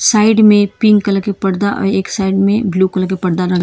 side में pink colour के पर्दा और एक साइड में ब्लू कलर के पर्दा--